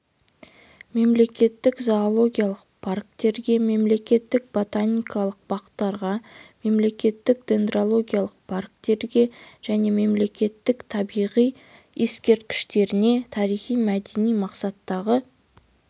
мемлекеттік зоологиялық парктерге мемлекеттік ботаникалық бақтарға мемлекеттік дендрологиялық парктерге және мемлекеттік табиғат ескерткіштеріне тарихи-мәдени мақсаттағы